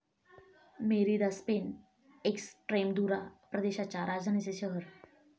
Merida, Spain, Extremadura प्रदेशाच्या राजधानीचे शहर